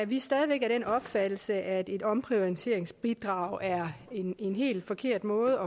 vi stadig af den opfattelse at et omprioriteringsbidrag er en en helt forkert måde